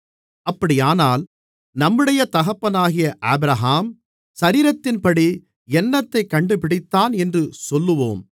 அப்படியானால் நம்முடைய தகப்பனாகிய ஆபிரகாம் சரீரத்தின்படி என்னத்தைக் கண்டுபிடித்தான் என்று சொல்லுவோம்